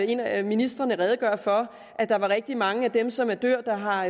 en af ministrene redegøre for at der er rigtig mange af dem som dør der har